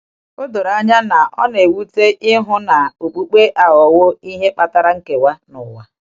O doro anya na o na-ewute ịhụ na okpukpe aghọwo ihe kpatara nkewa n’ụwa!